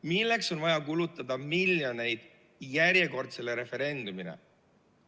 Milleks on vaja kulutada miljoneid järjekordsele referendumile?